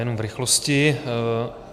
Jenom v rychlosti.